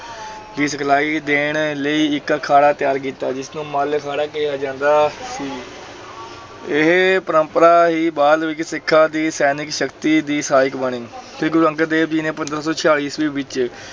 ਦੀ ਸਿਖਲਾਈ ਦੇਣ ਲਈ ਇੱਕ ਅਖਾੜਾ ਤਿਆਰ ਕੀਤਾ, ਜਿਸ ਨੂੰ ਮੱਲ ਅਖਾੜਾ ਕਿਹਾ ਜਾਂਦਾ ਸੀ ਇਹ ਪਰੰਪਰਾ ਹੀ ਬਾਅਦ ਵਿੱਚ ਸਿੱਖਾਂ ਦੀ ਸੈਨਿਕ ਸ਼ਕਤੀ ਦੀ ਸਹਾਇਕ ਬਣੀ ਸ੍ਰੀ ਗੁਰੂ ਅੰਗਦ ਦੇਵ ਜੀ ਨੇ ਪੰਦਰਾਂ ਸੌ ਛਿਆਲੀ ਈਸਵੀ ਵਿੱਚ